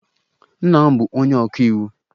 Nna m bụ onye ọka iwu.